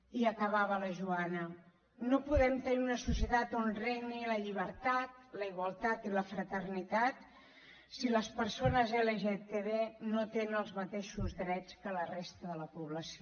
i acabava la joana no podem tenir una societat on regnin la llibertat la igualtat i la fraternitat si les persones lgtb no tenen els mateixos drets que la resta de la població